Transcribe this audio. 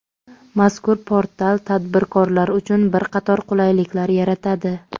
Mazkur portal tadbirkorlar uchun bir qator qulayliklar yaratadi.